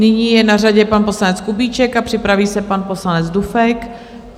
Nyní je na řadě pan poslanec Kubíček a připraví se pan poslanec Dufek.